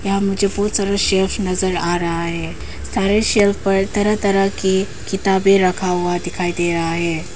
यहां मुझे बहुत सारा शेल्व्स नजर आ रहा है सारे शेल्व्स पर तरह तरह की किताबें रखा हुआ दिखाई दे रहा है।